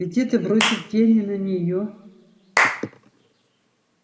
ведь это бросит тень и на нее